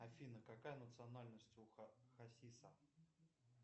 афина какая национальность у хасиса